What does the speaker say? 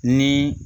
Ni